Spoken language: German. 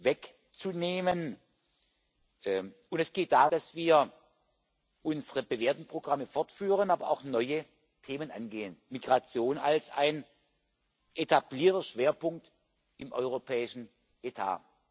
wegzunehmen, und es geht darum, dass wir unsere bewährten Programme fortführen, aber auch neue Themen angehen Migration als ein etablierter Schwerpunkt im europäischen Etat.